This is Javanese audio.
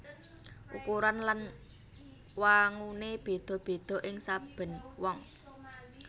Ukuran lan wanguné béda béda ing saben wong